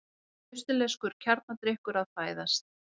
Austurlenskur kjarnadrykkur að fæðast.